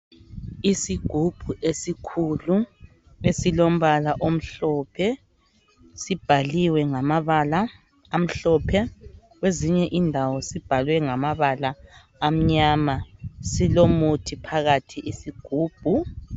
Isigubhu esikhulu esilombala omhlophe sibhaliwe ngamabala amhlophe kwezinye indawo sibhalwe ngamabala amnyama. Silomuthi phakathi isigubhu.